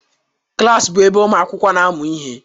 Klas bụ ebe ụmụ akwụkwọ na-amụ ihe.